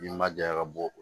N ma ja ka bɔ